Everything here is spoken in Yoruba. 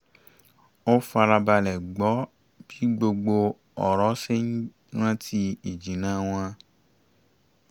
ó fara balẹ̀ gbọ́ bí gbogbo ọ̀rọ̀ ṣe ń rántí ìjìnnà wọn